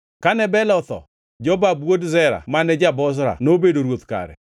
Kane Bela otho, Jobab wuod Zera mane ja-Bozra nobedo ruoth kare.